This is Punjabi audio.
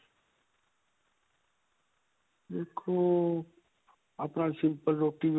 ਦੇਖੋ. ਆਪਾਂ simple ਰੋਟੀ.